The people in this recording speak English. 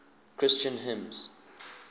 christian hymns